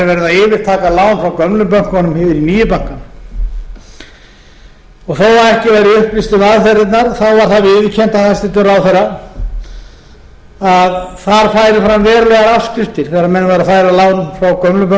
gömlu bönkunum yfir í nýju bankana þó að ekki væri upplýst um aðferðirnar var það viðurkennt af hæstvirtum ráðherra að þar færu fram verulegar afskriftir þegar menn væru að færa lán frá gömlu bönkunum yfir í